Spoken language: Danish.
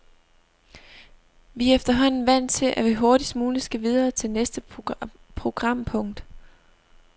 Vi er efterhånden vant til, at vi hurtigst muligt skal videre til næste programpunkt.